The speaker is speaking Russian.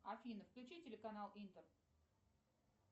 афина включи телеканал интер